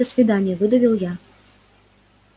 до свидания выдавил я